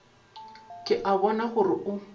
ke a bona gore o